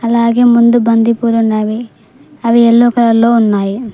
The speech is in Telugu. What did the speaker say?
అలాగే ముందు బంతి పూలు ఉన్నావి అవి ఎల్లో కలర్ లో ఉన్నాయి.